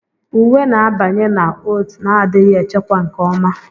Uwe na-abanye na oat na-adịghị echekwa nke ọma.